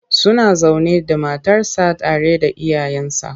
Suna zaune da matarsa tare da iyayensa.